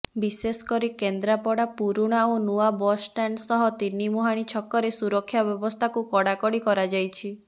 ବିଶେଷ କରି କେନ୍ଦ୍ରାପଡ଼ା ପୁରୁଣା ଓ ନୂଆ ବସ୍ଷ୍ଟାଣ୍ଡ ସହ ତିନିମୁହାଁଣି ଛକରେ ସୁରକ୍ଷା ବ୍ୟବସ୍ଥାକୁ କଡ଼ାକଡ଼ି କରାଯାଇଛି